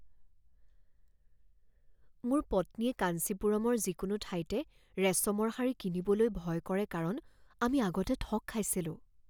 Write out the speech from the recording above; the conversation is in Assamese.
মোৰ পত্নীয়ে কাঞ্চিপুৰমৰ যিকোনো ঠাইতে ৰেচমৰ শাৰী কিনিবলৈ ভয় কৰে কাৰণ আমি আগতে ঠগ খাইছিলোঁ।